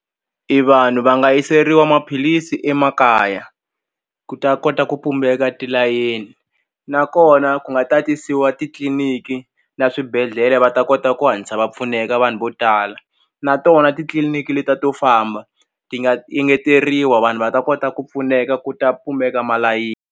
I vanhu va nga yiseriwa maphilisi emakaya ku ta kota ku pumbeka tilayeni nakona ku nga tatisiwa titliniki na swibedhlele va ta kota ku hatlisa va pfuneka vanhu vo tala na tona titliliniki le ta to famba ti nga engeteriwa vanhu va ta kota ku pfuneka ku ta .